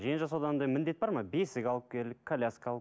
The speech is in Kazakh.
жиенжасауда андай міндет бар ма бесік алып келіп коляска ал